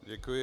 Děkuji.